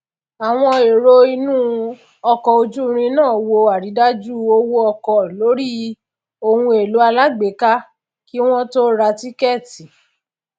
àwọn èrò inú ọkọ ojúirin náà wo àrídájú owó ọkọ lórí ohunèlò alágbèéká kí wọn tó ra tíkẹẹtì